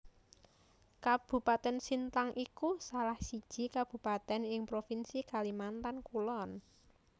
Kabupatèn Sintang iku salah siji kabupatèn ing provinsi Kalimantan Kulon